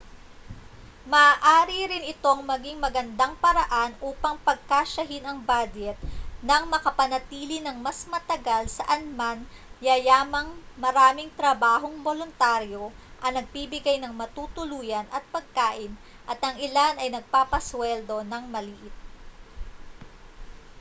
maaari rin itong maging magandang paraan upang pagkasyahin ang badyet nang makapanatili nang mas matagal saanman yayamang maraming trabahong boluntaryo ang nagbibigay ng matutuluyan at pagkain at ang ilan ay nagpapasuweldo nang maliit